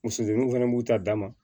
Muso denninw fana b'u ta dama